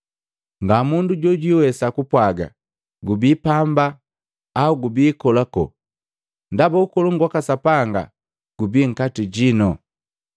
Ngamundu jojwiwesa kupwaaga, ‘Gubii pamba,’ au ‘Gubi kolakola.’ Ndaba Ukolongu waka Sapanga gubii nkati jino.”